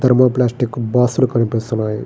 ధర్మో plastic box లు కనిపిస్తున్నాయి.